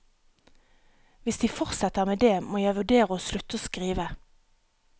Hvis de fortsetter med det, må jeg vurdere å slutte å skrive.